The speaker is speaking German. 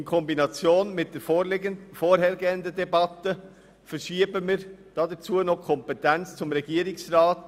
In Kombination mit der vorhergehenden Debatte verschieben wir dazu noch die Kompetenz hin zum Regierungsrat.